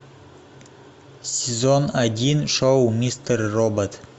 сезон один шоу мистер робот